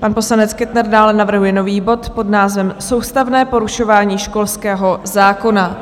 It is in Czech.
Pan poslanec Kettner dále navrhuje nový bod pod názvem Soustavné porušování školského zákona.